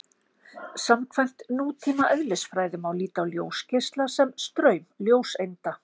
Samkvæmt nútíma eðlisfræði má líta á ljósgeisla sem straum ljóseinda.